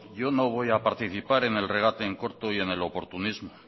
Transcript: yo no voy a participar en el regate en corto y en el oportunismo